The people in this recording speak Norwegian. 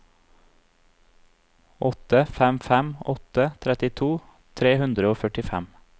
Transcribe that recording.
åtte fem fem åtte trettito tre hundre og førtifem